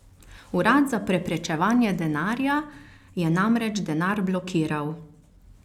Urad za preprečevanje denarja je namreč denar blokiral.